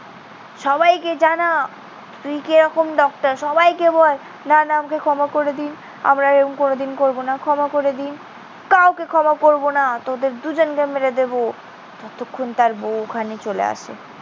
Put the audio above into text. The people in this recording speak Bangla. সবাইকে জানা তুই কি রকম ডক্টর। সবাইকে বল। না, না, আমাকে ক্ষমা করে দিন। আমরা এরকম কোনোদিন করবো না। ক্ষমা করে দিন। কাউকে ক্ষমা করবো না। তোদের দুজনকে মেরে দেবো। ততক্ষণ তার বউ ওখানে চলে আসে।